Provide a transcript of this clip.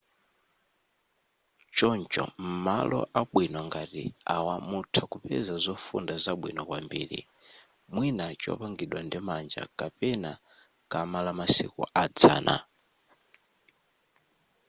choncho m'malo abwino ngati awa mutha kupeza zofunda zabwino kwambiri mwina chopangidwa ndi manja kapena kama lamasiku adzana